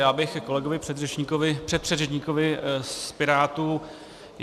Já bych ke kolegovi předřečníkovi, předpředřečníkovi z Pirátů.